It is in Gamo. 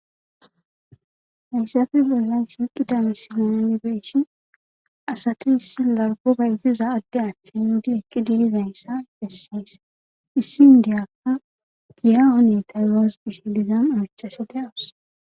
hayssafe bellan shiqida missilana yibeeshin asati issi laggo baytiza adde achchen di eqqi dilizaynssa bessees issi ndiyakka giyawane tayuwas gish dizam amichashe de awus